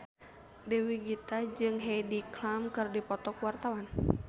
Dewi Gita jeung Heidi Klum keur dipoto ku wartawan